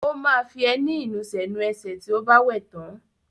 Ó máa fi ẹní ìnusẹ̀ nu ẹsẹ̀ tí ó bá wẹ̀ tán.